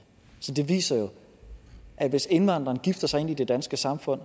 så det viser jo at hvis indvandrerne gifter sig ind i det danske samfund